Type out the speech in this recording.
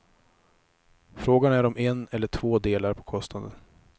Frågan är om en eller två delar på kostnaden.